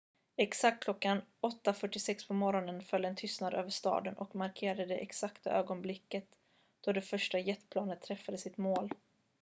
exakt klockan 8.46 på morgonen föll en tystnad över staden och markerade det exakta ögonblick då det första jetplanet träffade sitt mål